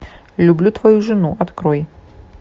люблю твою жену открой